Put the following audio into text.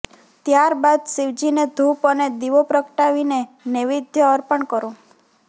ત્યાર બાદ શિવજીને ધૂપ અને દીવો પ્રગટાવીને નૈવેદ્ય અર્પણ કરો